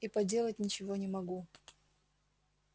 и поделать ничего не могу